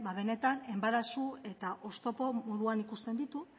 benetan enbarazu eta oztopo moduan ikusten ditu